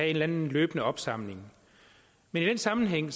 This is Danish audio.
eller anden løbende opsamling i den sammenhæng